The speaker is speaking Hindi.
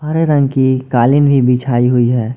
हरे रंग की कालीन भी बिछाई हुई है।